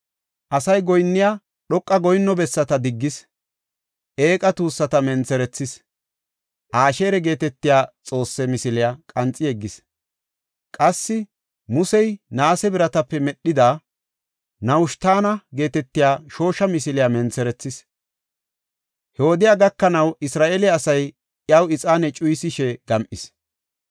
Asay dhoqa goyinno bessata diggis. Eeqa tuussata mentherethis. Asheera geetetiya xoosse misiliya qanxi yeggis. Qassi Musey naase biratape medhida, Nahushitana geetetiya shoosha misiliya mentherethis. He wodey gakanaw Isra7eele asay iyaw ixaane cuyisishe gam7is.